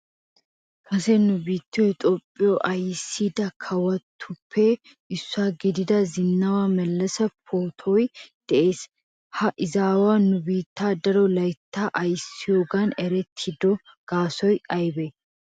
kase nu biittyo toophiyo ayssida kawotuppe issuwa gidida Zenawa Melese pootuwan de'ees. ha izzawu nu biittan daro laytta ayssiyoogan erettido gaasoy aybbe?